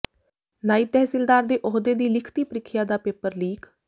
ਨਾਇਬ ਤਹਿਸੀਲਦਾਰ ਦੇ ਅਹੁਦੇ ਦੀ ਲਿਖਤੀ ਪ੍ਰੀਖਿਆ ਦਾ ਪੇਪਰ ਲੀਕ